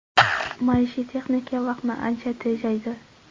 Maishiy texnika vaqtni ancha tejaydi.